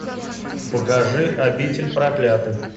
покажи обитель проклятых